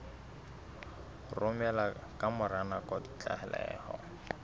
romela ka mora nako ditlaleho